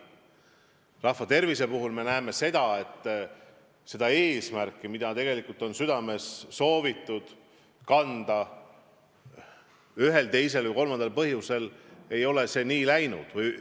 Paraku me näeme, et rahva tervist silmas pidavat eesmärki, mida me oleme tegelikult südames kandnud, pole ühel või teisel või kolmandal põhjusel saavutatud.